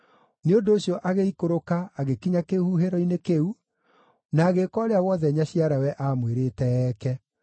Nĩ ũndũ ũcio agĩikũrũka agĩkinya kĩhuhĩro-inĩ kĩu, na agĩĩka ũrĩa wothe nyaciarawe aamwĩrĩte eeke.